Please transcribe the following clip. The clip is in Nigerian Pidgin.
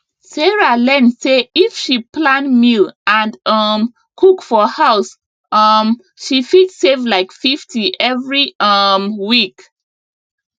sarah learn say if she plan meal and um cook for house um she fit save like 50 every um week